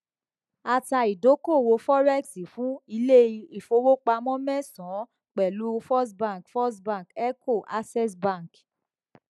a ta ìdókòwò forex fún iléìfowópamọ mẹsànán pẹlú first bank first bank eco access bank